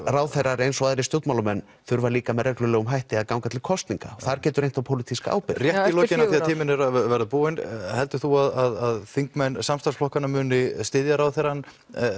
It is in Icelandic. ráðherrar eins og aðrir stjórnmálamenn þurfa líka með reglulegum hætti að ganga til kosninga og þar getur reynt á pólitíska ábyrgð rétt í lokin því að tíminn er að verða búinn heldur þú að þingmenn samstarfsflokkana muni styðja ráðherrann